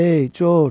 Ey Corc!